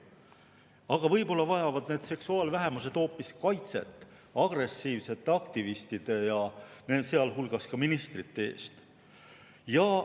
Aga võib-olla vajavad need seksuaalvähemused hoopis kaitset agressiivsete aktivistide, sealhulgas ministrite eest?